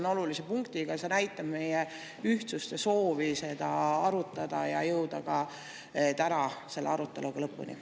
näitab meie ühtsust, soovi seda arutada ja jõuda täna selle aruteluga ka lõpuni.